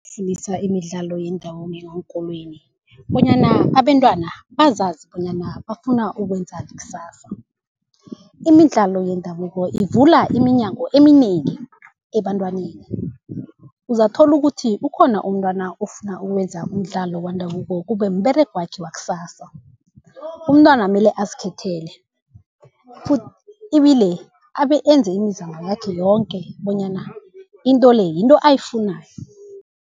ukufundisa imidlalo yendabuko ngeenkolweni, bonyana abentwana bazazi bonyana bafuna ukwenzani kusasa. Imidlalo yendabuko ivula iminyango eminengi ebantwaneni, uzakuthola ukuthi ukhona umntwana ofuna ukwenza umdlalo wendabuko kube mberegwakhe wakusasa. Umntwana mele azikhethele ibile abe enze imizamo yakhe yoke bonyana into le, yinto ayifunako.